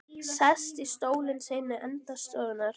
Sest í stólinn sinn í enda stofunnar.